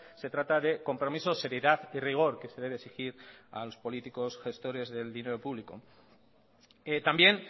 se trata de compromiso seriedad y rigor que se debe exigir a los políticos gestores del dinero público también